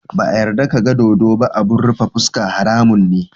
Ba a yarda ka ga dodo ba abun rufe fuska, haramun ne.